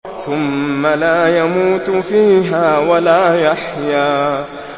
ثُمَّ لَا يَمُوتُ فِيهَا وَلَا يَحْيَىٰ